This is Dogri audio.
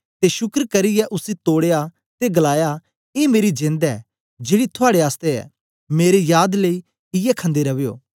ते शुक्र करियै उसी तोड़या ते गलाया ए मेरी जेंद ऐ जेड़ी थुआड़े आसतै ऐ मेरी याद लेई इयै खंदे रवयो